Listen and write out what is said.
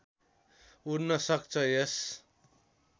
उड्न सक्छ यस